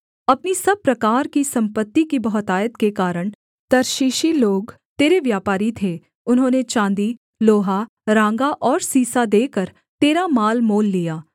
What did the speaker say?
अपनी सब प्रकार की सम्पत्ति की बहुतायत के कारण तर्शीशी लोग तेरे व्यापारी थे उन्होंने चाँदी लोहा राँगा और सीसा देकर तेरा माल मोल लिया